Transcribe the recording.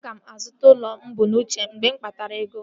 Aga m azụta ụlọ mụ bu n'uche mgbe m kpatara ego